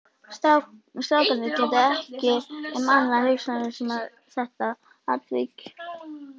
Strákarnir gátu ekki um annað hugsað en þetta atvik.